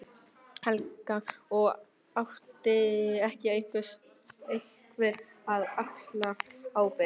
Helga: Og ætti þá ekki einhver að axla ábyrgð?